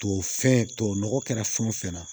Tubabu fɛn tubabu nɔgɔ kɛra fɛn o fɛn na